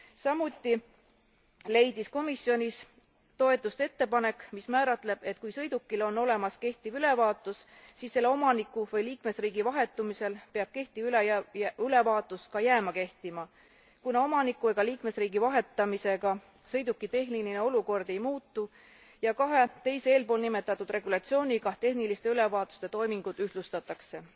Samuti leidis komisjonis toetust ettepanek, mis määratleb, et kui sõidukil on olemas kehtiv ülevaatus, siis selle omaniku või liikmesriigi vahetumisel peab kehtiv ülevaatus ka jääma kehtima, kuna omaniku ega liikmesriigi vahetamisega sõiduki tehniline olukord ei muutu, ja kahe teise eelpoolnimetatud regulatsiooniga tehniliste ülevaatuste toimingud ühtlustatakse.